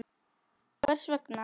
Hvers vegna?